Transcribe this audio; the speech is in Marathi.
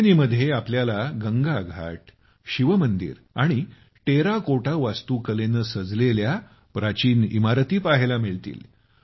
त्रिबेनीमध्ये आपल्याला गंगा घाट शिवमंदिर आणि टेराकोटा वास्तुकलेनं सजलेली प्राचीन इमारती पहायला मिळतील